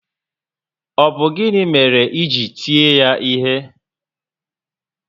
Ọ bụ gịnị mere i ji eti ya ihe?